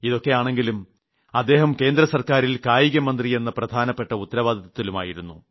ഇതൊക്കെയാണെങ്കിലും അദ്ദേഹം കേന്ദ്ര സർക്കാറിൽ കായികമന്ത്രിയെ പ്രധാനപ്പെട്ട ഉത്തരവാദിത്വത്തിലുമായിരുന്നു